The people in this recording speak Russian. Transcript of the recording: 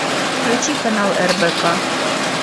включи канал рбк